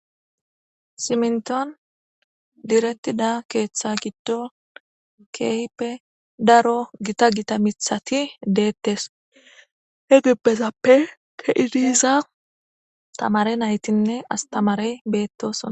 Siminton direttida keeththa giddo keyipe daro gita gita mithati deettes he gippezappe keidiza tamare naytinne astamarey beettosoa.